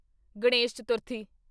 Ganesh Chaturthi